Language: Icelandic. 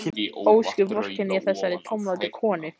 Ósköp vorkenni ég þessari tómlátu konu.